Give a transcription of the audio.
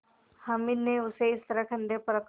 हामिद ने उसे इस तरह कंधे पर रखा